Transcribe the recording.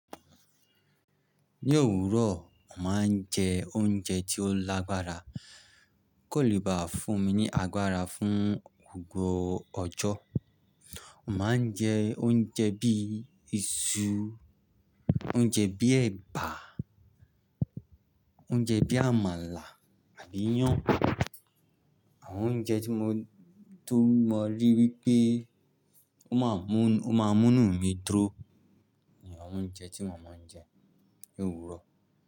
Ní òwúrọ̀, mo mà á jẹ oúnjẹ tí ó lágbára kò lè bá fún mi ní agbára fún gbogbo ọjọ́. Mà á jẹ oúnjẹ bí i iṣu, oúnjẹ bí i ẹ̀bà, oúnjẹ bí i àmàlà àbí iyán. Àwọn oúnjẹ tí mo rí wípé ó máa mú, ó máa mú nù mí dúró ni àwọn oúnjẹ tí mà á máa ń jẹ ní òwúrọ̀.